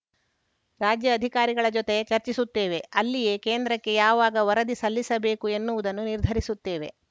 ರಾಜ್ಯ ಅಧಿಕಾರಿಗಳ ಜೊತೆ ಚರ್ಚಿಸುತ್ತೇವೆ ಅಲ್ಲಿಯೇ ಕೇಂದ್ರಕ್ಕೆ ಯಾವಾಗ ವರದಿ ಸಲ್ಲಿಸಬೇಕು ಎನ್ನುವುದನ್ನು ನಿರ್ಧರಿಸುತ್ತೇವೆ